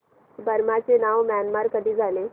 Burma चे नाव Myanmar कधी झाले